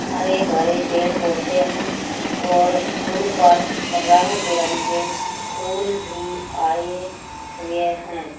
हरे भरे पेड़ पौधे है और उनपर रंग बिरंगे फूल भी आये हुए है।